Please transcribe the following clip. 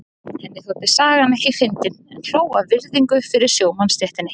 Henni þótti sagan ekki fyndin en hló af virðingu fyrir sjómannastéttinni.